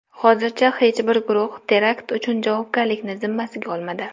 Hozircha hech bir guruh terakt uchun javobgarlikni zimmasiga olmadi.